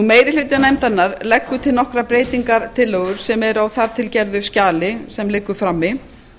meiri hluti nefndarinnar leggur til nokkrar breytingartillögur sem eru á þar til gerðu skjali sem liggur frammi